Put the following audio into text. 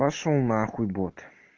пошёл нахуй бот